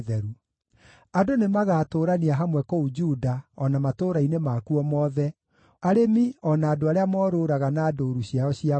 Andũ nĩmagatũũrania hamwe kũu Juda o na matũũra-inĩ makuo mothe, arĩmi o na andũ arĩa Morũũraga na ndũũru ciao cia mbũri.